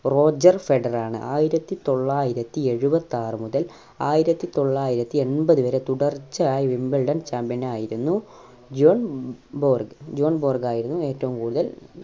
Roger Federer ആണ് ആയിരത്തി തൊള്ളായിരത്തി ഏഴുവത്തി ആറ് മുതൽ ആയിരത്തി തൊള്ളായിരത്തി എൺപത് വരെ തുടർച്ചയായി wimbledon Champion ആയിരുന്നു ജോൺ ബോർഗ്. ജോൺ ബോർഗ് ആയിരുന്നു ഏറ്റവും കൂടുതൽ